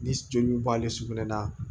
Ni joli b'ale sugunɛ na